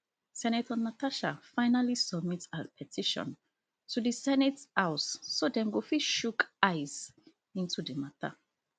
senator natasha finally submit her petition to di senate house so dem go fit chook eyes into di matter